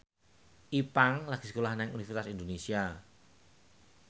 Ipank lagi sekolah nang Universitas Indonesia